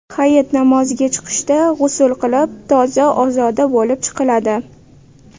Hayit namoziga chiqishda g‘usl qilib, toza-ozoda bo‘lib chiqiladi.